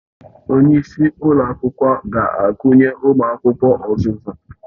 Onye isi ụlọ akwụkwọ ga-akụnye ụmụ akwụkwọ ọzụzụ